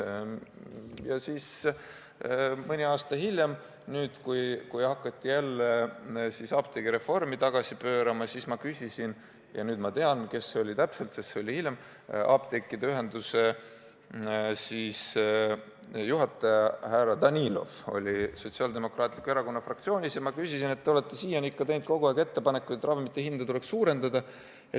Nüüd, mõni aasta hiljem, kui hakati apteegireformi tagasi pöörama, ma küsisin – ja seda ma tean täpselt, kellelt ma küsisin, sest see oli hiljem – apteekide ühenduse juhilt härra Danilovit, kes käis meil Sotsiaaldemokraatliku Erakonna fraktsioonis, et te olete kogu aeg teinud ettepanekuid ravimite hinda tõsta ja kas tahate seda nüüdki.